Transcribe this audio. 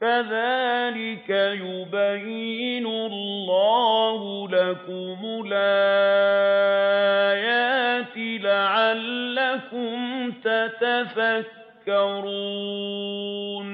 كَذَٰلِكَ يُبَيِّنُ اللَّهُ لَكُمُ الْآيَاتِ لَعَلَّكُمْ تَتَفَكَّرُونَ